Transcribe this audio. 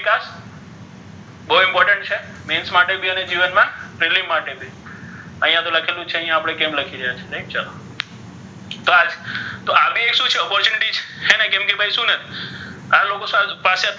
બહુ important છે માટે ભી અને જીવન મા માટે ભી અહીયા તો લખેલુ છે અહી આપણે કેમ લખેલ છે right તો આ રીતે આ બઇ શુ છે opportunity છે હે ને કેમ કે ભઇ શુ ને આ લોકો પાસે,